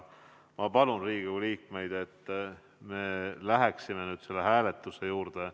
Ma palun Riigikogu liikmeid, et me läheksime nüüd selle hääletuse juurde.